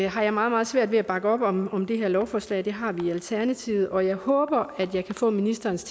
har jeg meget meget svært ved at bakke op om om det her lovforslag det har vi i alternativet og jeg håber at jeg kan få ministerens